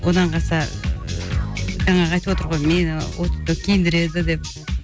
одан қалса ы жаңағы айтыватыр ғой мені ол кісі киіндіреді деп